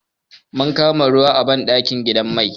Mun kama ruwa a banɗakin gidan mai.